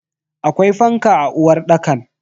Akwai fanka a uwarɗakan?